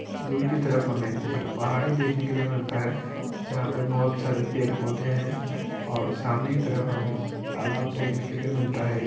दूर के तरफ हमें एक पहाड़ी देखने के लिए मिलता है जहा पर बहुत सारे पेड़ पौधे हैं और सामने की तरफ हमें तलाब देखने के लिए मिलता है।